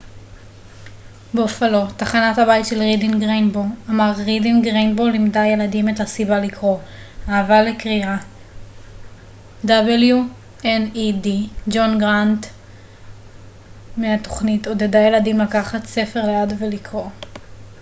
"ג'ון גרנט מ-wned בופאלו תחנת הבית של רידינג ריינבוו אמר "רידינג ריינבוו לימדה ילדים את הסיבה לקרוא,... האהבה לקריאה — [התכנית] עודדה ילדים לקחת ספר ליד ולקרוא.""